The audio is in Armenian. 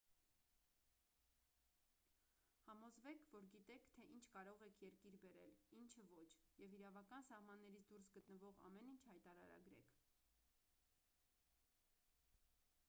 համոզվեք որ գիտեք թե ինչ կարող եք երկիր բերել ինչը ոչ և իրավական սահմաններից դուրս գտնվող ամեն ինչ հայտարարագրեք